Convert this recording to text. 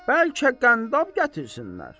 Bəlkə qəndab gətirsinlər?